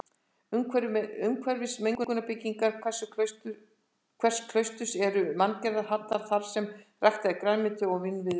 Umhverfis meginbyggingar hvers klausturs eru manngerðir hjallar þarsem ræktað er grænmeti og vínviður.